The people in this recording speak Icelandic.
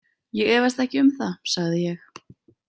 Ég efast ekki um það, sagði ég.